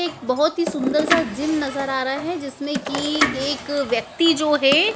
एक बहुत ही सुंदर सा जिम नज़र आ रहा है जिसमें की एक व्यक्ति जो है--